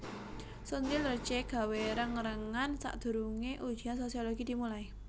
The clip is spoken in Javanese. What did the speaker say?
Sondre Lerche gawe reng rengan sakdurunge ujian Sosiologi dimulai